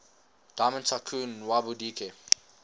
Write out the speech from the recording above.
diamond tycoon nwabudike